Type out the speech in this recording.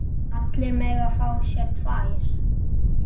Allir mega fá sér tvær.